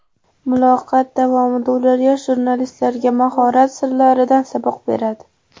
Muloqot davomida ular yosh jurnalistlarga mahorat sirlaridan saboq beradi.